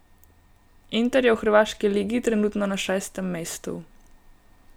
Inter je v hrvaški ligi trenutno na šestem mestu.